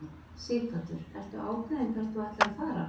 Sighvatur: Ertu ákveðinn hvert þú ætlar að fara?